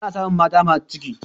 ana samun mata masu ciki